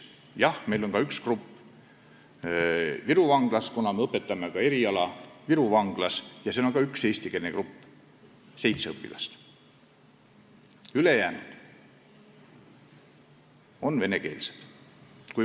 Jah, meil on üks grupp Viru vanglas, me õpetame eriala ka Viru vanglas ja seal on ka üks eestikeelne grupp, seitse õpilast, ülejäänud on venekeelsed.